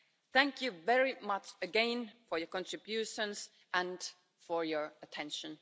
Thank you very much again for your contributions and for your attention.